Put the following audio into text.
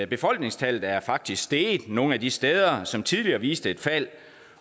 befolkningstallet er faktisk steget nogle af de steder som tidligere viste et fald